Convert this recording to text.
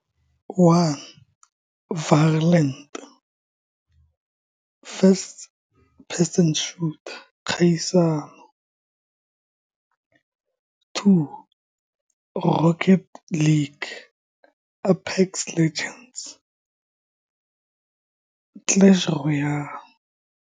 One violent, first person shooter, kgaisano, two Rocket League, Apex Legends, Clash Royale.